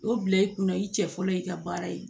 O bila i kunna i cɛ fɔlɔ i ka baara ye